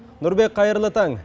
нұрбек қайырлы таң